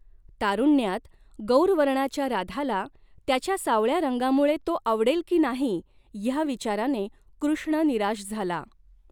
तारुण्यात, गौर वर्णाच्या राधाला त्याच्या सावळ्या रंगामुळे तो आवडेल की नाही ह्या विचाराने कृष्ण निराश झाला.